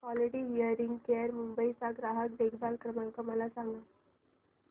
quality hearing care Mumbai चा ग्राहक देखभाल क्रमांक मला सांगा